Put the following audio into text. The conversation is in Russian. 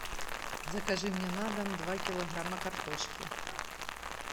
закажи мне на дом два килограмма картошки